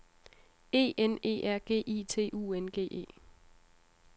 E N E R G I T U N G E